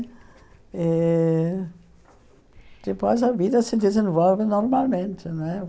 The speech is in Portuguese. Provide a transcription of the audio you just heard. Eh depois a vida se desenvolve normalmente. Não é